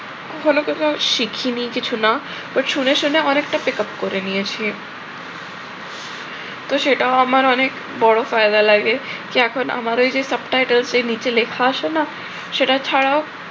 কখনো কখনো শিখিনি কিছু না but শুনে শুনে অনেকটা pickup করে নিয়েছি। তো সেটাও আমার অনেক বড় ফায়দা লাগে। কি এখন আমার ওই subtitles যে নিচে লেখা আসে না সেটা ছাড়াও